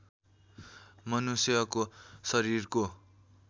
मनुष्यको शरीरको